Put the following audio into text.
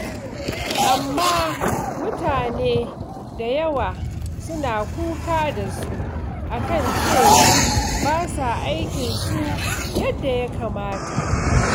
Amma mutane da yawa suna kuka da su a kan cewa ba sa aikinsu yadda ya kamata.